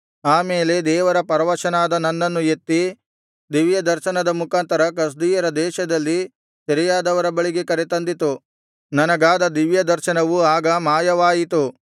ಆಮೇಲೆ ದೇವರಾತ್ಮ ಪರವಶನಾದ ನನ್ನನ್ನು ಎತ್ತಿ ದಿವ್ಯ ದರ್ಶನದ ಮುಖಾಂತರ ಕಸ್ದೀಯರ ದೇಶದಲ್ಲಿ ಸೆರೆಯಾದವರ ಬಳಿಗೆ ಕರೆತಂದಿತು ನನಗಾದ ದಿವ್ಯದರ್ಶನವು ಆಗ ಮಾಯವಾಯಿತು